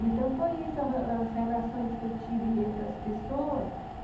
Então, foi isso, as as relações que eu tive entre as pessoas.